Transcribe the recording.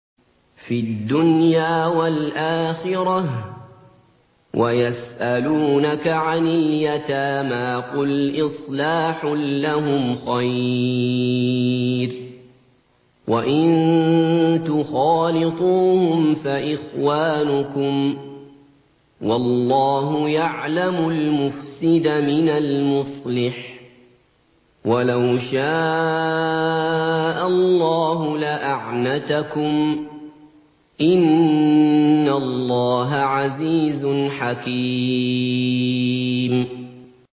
فِي الدُّنْيَا وَالْآخِرَةِ ۗ وَيَسْأَلُونَكَ عَنِ الْيَتَامَىٰ ۖ قُلْ إِصْلَاحٌ لَّهُمْ خَيْرٌ ۖ وَإِن تُخَالِطُوهُمْ فَإِخْوَانُكُمْ ۚ وَاللَّهُ يَعْلَمُ الْمُفْسِدَ مِنَ الْمُصْلِحِ ۚ وَلَوْ شَاءَ اللَّهُ لَأَعْنَتَكُمْ ۚ إِنَّ اللَّهَ عَزِيزٌ حَكِيمٌ